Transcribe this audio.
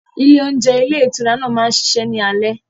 Ile ohúnjẹ ilé ìtura náà máa ń ṣiṣẹ́ ní alé.